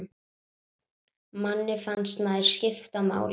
Manni fannst maður skipta máli.